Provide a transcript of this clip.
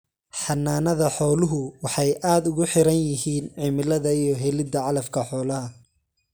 Xanaanada xooluhu waxay aad ugu xidhan yihiin cimilada iyo helida calafka xoolaha.